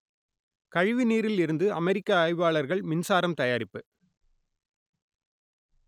கழிவு நீரில் இருந்து அமெரிக்க ஆய்வாளர்கள் மின்சாரம் தயாரிப்பு